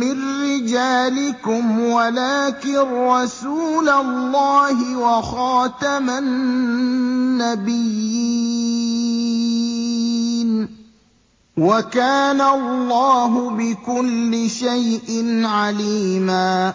مِّن رِّجَالِكُمْ وَلَٰكِن رَّسُولَ اللَّهِ وَخَاتَمَ النَّبِيِّينَ ۗ وَكَانَ اللَّهُ بِكُلِّ شَيْءٍ عَلِيمًا